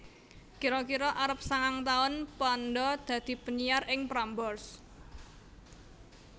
Kira kira arep sangang taun Panda dadi penyiar ing Prambors